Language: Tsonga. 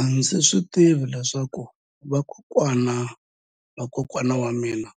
A ndzi tivi leswaku vakokwana-va-vakokwana va mina